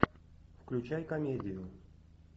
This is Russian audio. включай комедию